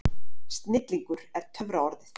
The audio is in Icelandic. Snillingur er töfraorðið.